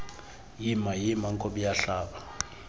yima yima nkobiyahlaba